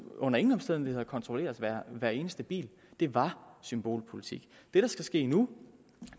under ingen omstændigheder kontrollere hver eneste bil det var symbolpolitik det der skal ske nu